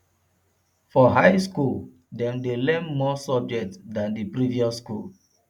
for high school dem de learn more subject than the previous school